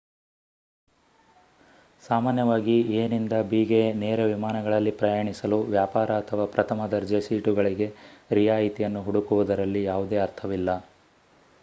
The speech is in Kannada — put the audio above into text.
ಸಾಮಾನ್ಯವಾಗಿ ಎ ನಿಂದ ಬಿ ಗೆ ನೇರ ವಿಮಾನಗಳಲ್ಲಿ ಪ್ರಯಾಣಿಸಲು ವ್ಯಾಪಾರ ಅಥವಾ ಪ್ರಥಮ ದರ್ಜೆ ಸೀಟುಗಳಿಗೆ ರಿಯಾಯಿತಿಯನ್ನು ಹುಡುಕುವುದರಲ್ಲಿ ಯಾವುದೇ ಅರ್ಥವಿಲ್ಲ